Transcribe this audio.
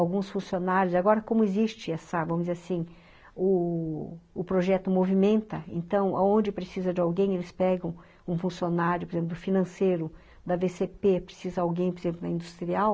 Alguns funcionários, agora como existe essa, vamos dizer assim, o o projeto movimenta, então, onde precisa de alguém, eles pegam um funcionário, por exemplo, do financeiro, da vê cê pê, precisa de alguém, por exemplo, da Industrial,